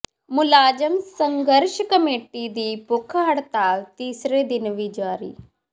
ਮੁਲਾਜ਼ਮ ਸੰਘਰਸ਼ ਕਮੇਟੀ ਦੀ ਭੁੱਖ ਹੜਤਾਲ ਤੀਸਰੇ ਦਿਨ ਵੀ ਜਾਰੀ